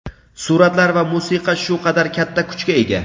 Suratlar va musiqa shu qadar katta kuchga ega.